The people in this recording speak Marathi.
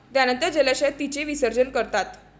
त्यानंतर जलाशयात तिचे विसर्जन करतात.